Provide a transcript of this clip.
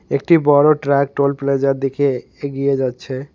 একটি বড় truck toll প্লাজার দিকে এগিয়ে যাচ্ছে।